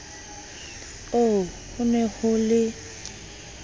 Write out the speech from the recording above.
oo ho ne ho le